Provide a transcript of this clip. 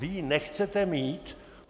Vy ji nechcete mít?